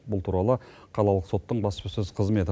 бұл туралы қалалық соттың баспасөз қызметі